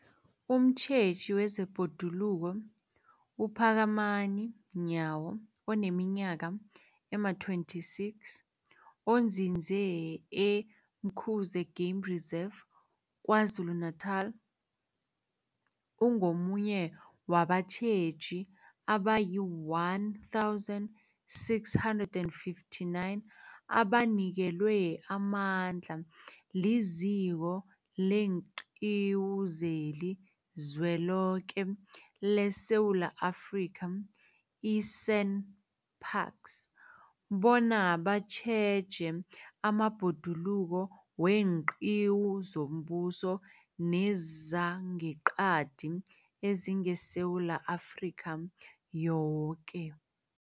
Umtjheji wezeBhoduluko uPhakamani Nyawo oneminyaka ema-26, onzinze e-Umkhuze Game Reserve KwaZulu-Natala, ungomunye wabatjheji abayi-1 659 abanikelwe amandla liZiko leenQiwu zeliZweloke leSewula Afrika, i-SANParks, bona batjheje amabhoduluko weenqiwu zombuso nezangeqadi ezingeSewula Afrika yoke.